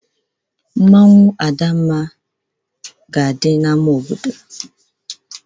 Adamma masquerade ga-adị na square obodo